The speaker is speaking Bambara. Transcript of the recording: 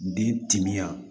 Den timinan